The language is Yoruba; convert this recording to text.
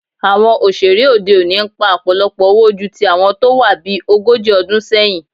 Àwọn òṣèré òde òní ń pa ọ̀pọ̀lọpọ̀ owó ju ti àwọn tó wá bí ogójì ọdún sẹ́yìn